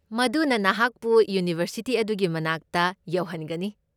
ꯃꯗꯨꯅ ꯅꯍꯥꯛꯄꯨ ꯌꯨꯅꯤꯚꯔꯁꯤꯇꯤ ꯑꯗꯨꯒꯤ ꯃꯅꯥꯛꯇ ꯌꯧꯍꯟꯒꯅꯤ꯫